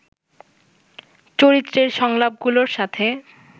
চরিত্রের সংলাপগুলোর সাথে